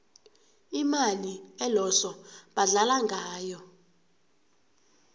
imali eloso badlala ngayo